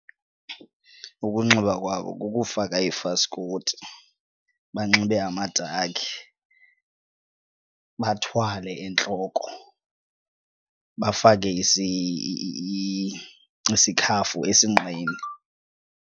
Ukunxiba kwabo kukufaka ifaskoti banxibe amadakhi, bathwale entloko, bafake isikhafu esinqeni.